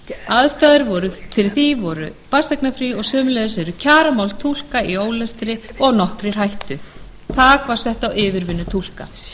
aðstæður fyrir því voru barnseignarfrí og sömuleiðis eru kjaramál túlka í ólestri og nokkrir hættu þak var sett á yfirvinnu túlka